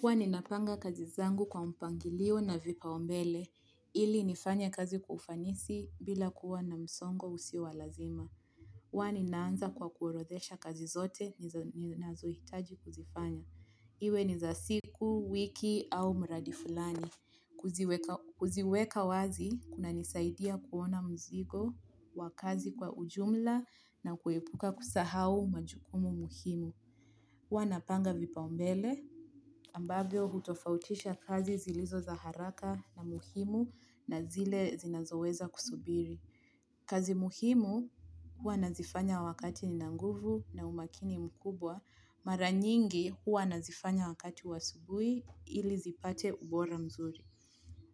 Huwa napanga kazi zangu kwa mpangilio na vipaombele, ili nifanye kazi kwa ufanisi bila kuwa na msongo usio walazima. Huwa naanza kwa kuorodhesha kazi zote ninazo hitaji kuzifanya. Iwe ni za siku, wiki au mradi fulani. Kuziweka wazi, kuna nisaidia kuona mzigo, wa kazi kwa ujumla na kuepuka kusahau majukumu muhimu. Huwa napanga vipao mbele ambavyo hutofautisha kazi zilizo za haraka na muhimu na zile zinazoweza kusubiri. Kazi muhimu hua nazifanya wakati nina nguvu na umakini mkubwa. Mara nyingi hua nazifanya wakati wa asubui ili zipate ubora mzuri.